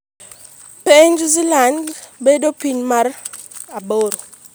piny Zealand bedo piny mar aboro?